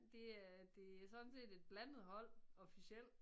Det øh det sådan set et blandet hold officielt